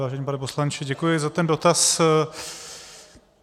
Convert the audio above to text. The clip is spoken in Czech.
Vážený pane poslanče, děkuji za ten dotaz.